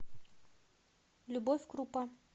любовь крупа